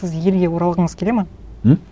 сіз елге оралғыңыз келеді ме м